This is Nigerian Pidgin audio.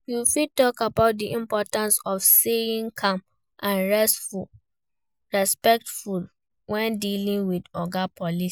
You fit talk about di importance of staying calm and respectful when dealing with oga police.